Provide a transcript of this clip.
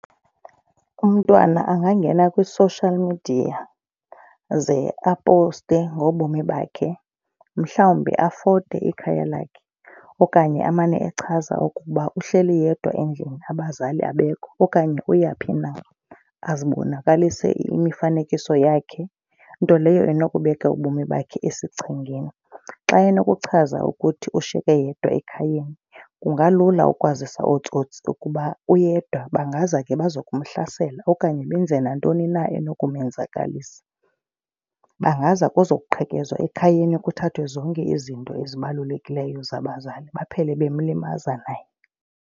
Umntwana angangena kwi-social media ze apowuste ngobomi bakhe. Mhlawumbi afote ikhaya lakhe okanye amane echaza ukuba uhleli yedwa endlini abazali abekho. Okanye uyaphi na azibonakalise imifanekiso yakhe nto leyo inokubeka ubomi bakhe esichengeni. Xa enokuchaza ukuthi ushiyeke yedwa ekhayeni kungalula ukwazisa ootsotsi ukuba uyedwa bangaza ke baze kumhlasela okanye benze nantoni na enokumenzakalisa. Bangaza kuzo kuqhekezwa ekhayeni kuthathwe zonke izinto ezibalulekileyo zabazali baphele bemlimaza naye.